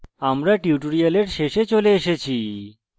আমরা tutorial শেষে চলে এসেছি